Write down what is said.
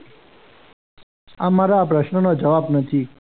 આ મારા પ્રશ્નનો જવાબ નથી.